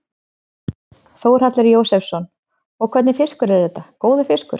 Þórhallur Jósefsson: Og hvernig fiskur er þetta, góður fiskur?